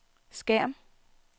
skærm